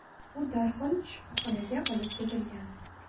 U darhol shifoxonaga olib ketilgan.